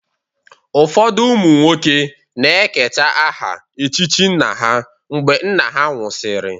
Ụfọdụ ụmụ nwoke na-eketa aha echichi nna ha mgbe nna ha nwụsịrị.